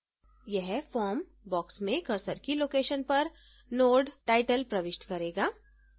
यह form box में cursor की location पर node: title प्रविष्ट करेगा